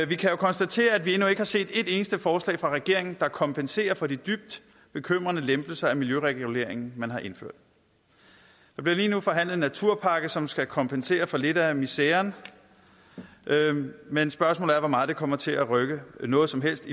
vi kan jo konstatere at vi endnu ikke har set et eneste forslag fra regeringen der kompenserer for de dybt bekymrende lempelser i miljøreguleringen man har indført der bliver lige nu forhandlet en naturpakke som skal kompensere for lidt af miseren men spørgsmålet er hvor meget det kommer til at rykke ved noget som helst